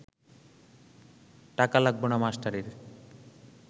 টাকা লাগব না মাস্টারের